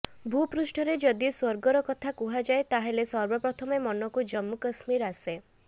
ଭୂପୃଷ୍ଠରେ ଯଦି ସ୍ୱର୍ଗର କଥା କୁହାଯାଏ ତାହେଲେ ସର୍ବପ୍ରଥମେ ମନକୁ ଜମ୍ମୁ କଶ୍ମୀର ଆସେ